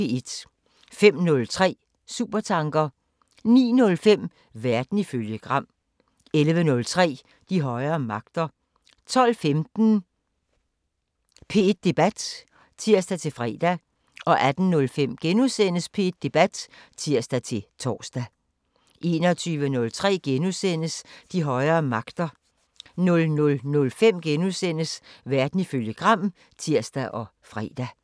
05:03: Supertanker 09:05: Verden ifølge Gram 11:03: De højere magter 12:15: P1 Debat (tir-fre) 18:05: P1 Debat *(tir-tor) 21:03: De højere magter * 00:05: Verden ifølge Gram *(tir og fre)